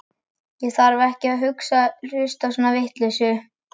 Ég þarf ekki að hlusta á svona vitleysu.